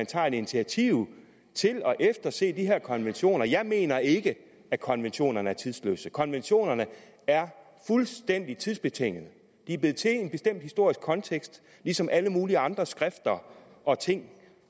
tager et initiativ til at efterse de her konventioner jeg mener ikke at konventionerne er tidløse konventionerne er fuldstændig tidsbetinget de er blevet til i en bestemt historisk kontekst ligesom alle mulige andre skrifter og ting